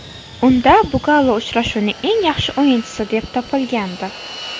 Unda Bugalo uchrashuvning eng yaxshi o‘yinchisi deb topilgandi.